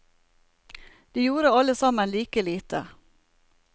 De gjorde alle sammen like lite.